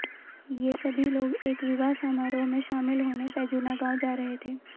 ये सभी लोग एक विवाह समारोह में शामिल होने पैजूना गांव जा रहे थे